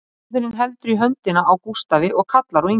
Móðirin heldur í höndina á Gústafi og kallar á Ingu